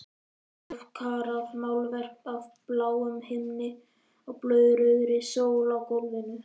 Hálfkarað málverk af bláum himni og blóðrauðri sól á gólfinu.